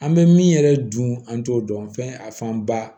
An bɛ min yɛrɛ dun an t'o dɔn fɛn a fanba